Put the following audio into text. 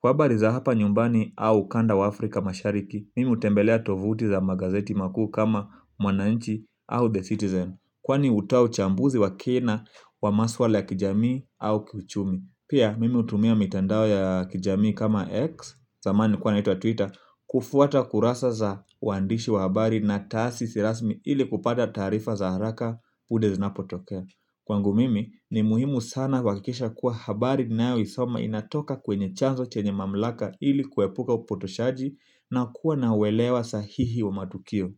Kwa habari za hapa nyumbani au ukanda wa Afrika Mashariki. Mimi hutembelea tuvuti za magazeti makuu kama Mwananchi au The Citizen kwani hutoa uchambuzi wa kina kwa maswala ya kijamii au kiuchumi pia mimi hutumia mitandao ya kijamii kama X zamani ilikuwa inaitwa Twitter. Kufuata kurasa za waandishi wa habari na taasisi rasmi ili kupata taarifa za haraka punde zinapotokea kwangu mimi ni muhimu sana kuhakikisha kuwa habari ninayoisoma inatoka kwenye chanzo chenye mamlaka ili kuepuka upotoshaji na kuwa na uelewa sahihi wa matukio.